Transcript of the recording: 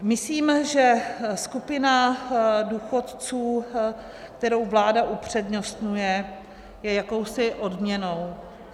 Myslím, že skupina důchodců, kterou vláda upřednostňuje, je jakousi odměnou.